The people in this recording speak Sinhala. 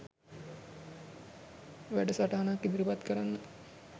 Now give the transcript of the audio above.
වැටසටහනක් ඉදිරිපත් කරන්න